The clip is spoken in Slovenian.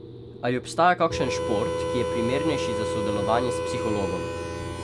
Ali obstaja kakšen šport, ki je primernejši za sodelovanje s psihologom?